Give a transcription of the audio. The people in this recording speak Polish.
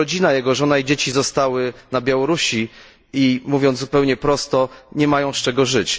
Ale jego rodzina, jego żona i dzieci zostały na Białorusi, i mówiąc zupełnie prosto nie mają z czego żyć.